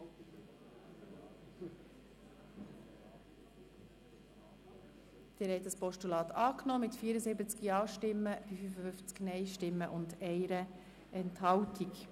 Sie haben dieses Postulat mit 74 Ja- gegen 55 Nein-Stimmen bei 1 Enthaltung angenommen.